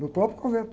No próprio convento.